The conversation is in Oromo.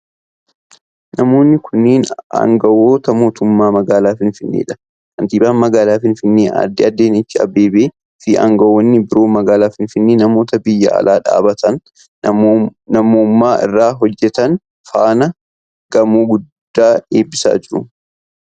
Namoonni kunneen aangawoota mootummaa magaalaa finfinnee dha. Kantiibaan magaalaa finfinnee Aaddee Adaanach Abeebee fi aangawoonni biroo magaalaa finfinnee namoota biyya alaa dhaabbata namoomaa irra hojjatan faana gamoo guddaa eebisaa jiru.